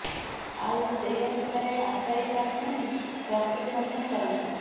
ଆଉ ସେହି ଅନୁସାରେ ଆଶାୟୀ ପ୍ରାର୍ଥୀମାନେ ପ୍ରସ୍ତୁତି ମଧ୍ୟ କରନ୍ତିି